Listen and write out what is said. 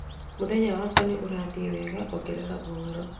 mũthenya wakwa nĩ ũrathiĩ wega ongerera ũhoro